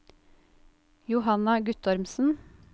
Johanna Guttormsen